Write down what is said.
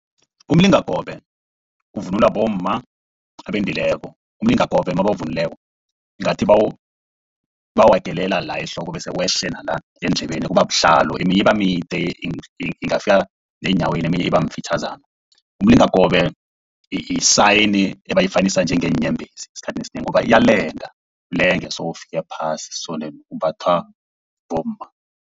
Umlingakobe uvunulwa bomma abendileko. Umlingakobe nabawuvunulileko ngathi bawuhagelela la ehloko bese wehle nanyana eendlebeni kuba buhlalo. Eminye ibamide ingafika nenyaweni eminye iba mfitjhazana. Umlingakobe yi-sign ebayifanisa njengeenyebhezi esikhathini esinengi ngoba iyalenga, ilenge so kufika phasi so imbathwa bomma.